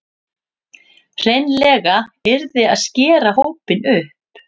Hreinlega yrði að skera hópinn upp